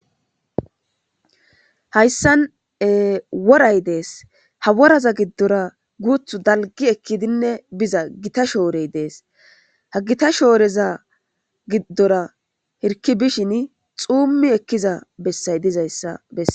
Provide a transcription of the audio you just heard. hayssan woray dees ha woraza giddora guuthu dalgi ekkidinne biza gita shoorey dees ha gita shooreza giddora hirki bishin xuummi ekkiza bessay dizayssa bessa